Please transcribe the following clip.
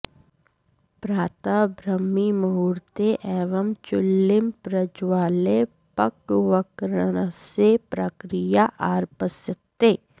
प्रातः ब्राह्मीमुहूर्ते एव चुल्लीं प्रज्वाल्य पक्वकरणस्य प्रक्रिया आरप्स्यते